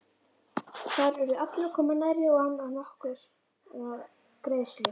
Þar urðu allir að koma nærri og án nokkurrar greiðslu.